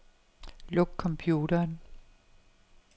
Luk computeren.